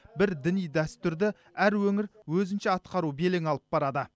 бір діни дәстүрді әр өңір өзінше атқару белең алып барады